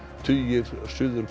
tugir Suður